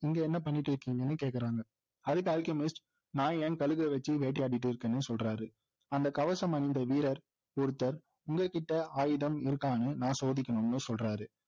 இங்கே என்ன பண்ணிக்கிட்டு இருக்கீங்கன்னு கேக்குறாங்க அதுக்கு அல்கெமிஸ்ட் நான் என் கழுகை வைச்சு வேட்டையாடிட்டு இருக்கேன்னு சொல்றாரு அந்த கவசம் அணிந்த வீரர் ஒருத்தர் உங்ககிட்ட ஆயுதம் இருக்கான்னு நான் சோதிக்கணும்னு சொல்றாரு